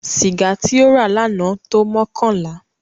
Sìgá tí ó rà lánàá tó mọ́kànlá.